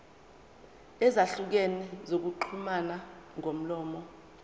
ezahlukene zokuxhumana ngomlomo